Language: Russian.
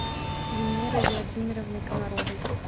венерой владимировной комаровой